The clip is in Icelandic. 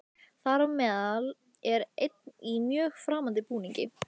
Þar á meðal er einn í mjög framandi búningi.